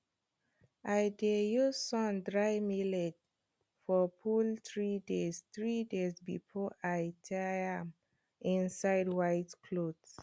i dey use sun dry millet for full three days three days before i tie am inside white cloth